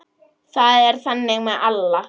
Það er þannig með alla.